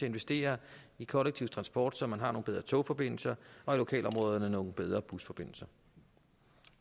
investere i kollektiv transport så man har nogle bedre togforbindelser og i lokalområderne nogle bedre busforbindelser